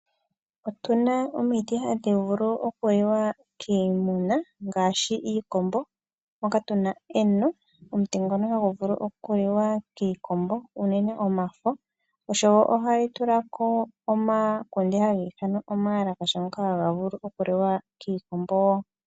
Otuna omiti hadhi vulu oku liwa kiimuna ngaashi iikombo moka tuna eno. Omuti ngono hagu liwa kiikombo unene ngaa omafo. Ohali tulako omakunde haga ithanwa omawalakasha ngoka haga liwa kiikombo.